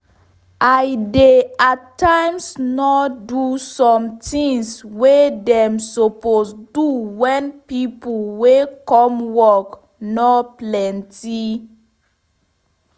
i dey at times nor do some tins wey dem suppose do wen pipo wey come work nor plenty